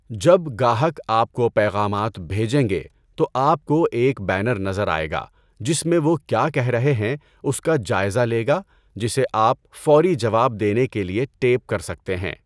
جب گاہک آپ کو پیغامات بھیجیں گے تو آپ کو ایک بینر نظر آئے گا جس میں وہ کیا کہہ رہے ہیں اس کا جائزہ لے گا جسے آپ فوری جواب دینے کے لیے ٹیپ کر سکتے ہیں۔